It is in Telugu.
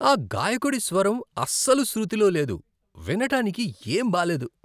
ఆ గాయకుడి స్వరం అస్సలు శృతిలో లేదు. వినడానికి ఏం బాలేదు.